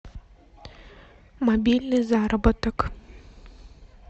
мобильный заработок